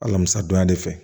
Alamisa don ya de fɛ